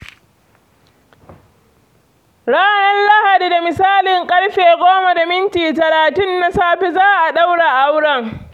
Ranar Lahadi da misalin ƙarfe 10.30 na safe za a ɗaura aurenta.